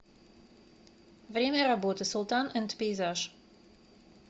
время работы султан энд пейзаж